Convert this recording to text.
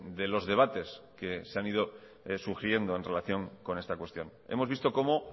de los debates que se han ido sugiriendo en relación con esta cuestión hemos visto como